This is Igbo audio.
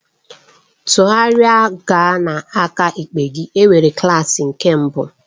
Tụgharịa gaa n'aka ekpe gị, enwere klaasị nke mbụ.